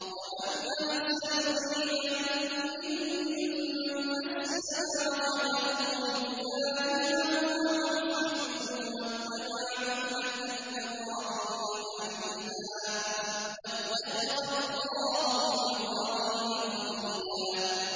وَمَنْ أَحْسَنُ دِينًا مِّمَّنْ أَسْلَمَ وَجْهَهُ لِلَّهِ وَهُوَ مُحْسِنٌ وَاتَّبَعَ مِلَّةَ إِبْرَاهِيمَ حَنِيفًا ۗ وَاتَّخَذَ اللَّهُ إِبْرَاهِيمَ خَلِيلًا